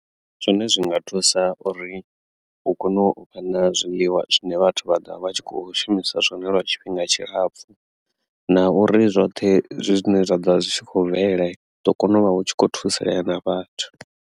Zwine zwi nga thusa uri hu kone u vha na zwiḽiwa zwine vhathu vha ḓovha vha tshi kho shumisa zwone lwa tshifhinga tshilapfhu na uri zwoṱhe zwine zwa ḓo vha zwi tshi khou bvelela hu ḓo kona u vha hu tshi khou thusalea na vhathu.